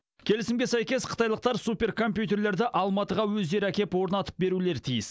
келімісге сәйкес қытайлықтар суперкомпьютерлерді алматыға өздері әкеп орнатып берулері тиіс